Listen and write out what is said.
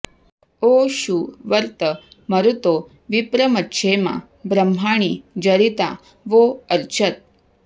ओ षु वर्त्त मरुतो विप्रमच्छेमा ब्रह्माणि जरिता वो अर्चत्